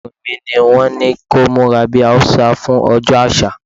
Ọmọkùnrin mi ní wón ní kó múra bí Haúsá fún ọjọ́ àṣà.